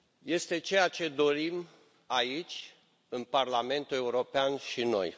Este ceea ce dorim, aici, în Parlamentul European, și noi.